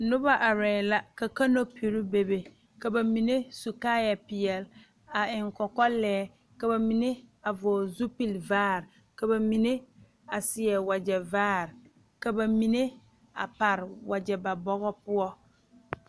Noba arɛɛ la ka kanopiri be be ka ba mine su kaayɛ peɛle a eŋ kɔkɔlɛɛ ka ba mine a vɔgele zupili vaare are ka ba mine a seɛ wagyɛ vaare ka ba mine a pare wagyɛ ba bɔgɔ poɔ